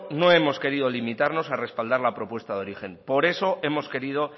no hemos querido limitarnos a respaldar la propuesta de origen por eso hemos querido